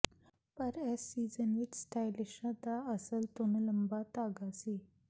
ਪਰ ਇਸ ਸੀਜ਼ਨ ਵਿਚ ਸਟਾਈਲਿਸ਼ਾਂ ਦਾ ਅਸਲ ਧੁਨ ਲੰਬਾ ਧਾਗਾ ਸੀ